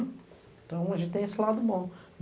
Então a gente tem esse lado bom.